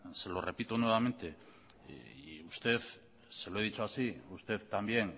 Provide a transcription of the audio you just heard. se lo repito nuevamente y usted se lo he dicho así usted también